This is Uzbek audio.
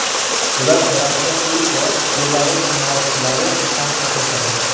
Ular orasida ilk bor Belarus sanoatchilari ham qatnashadi.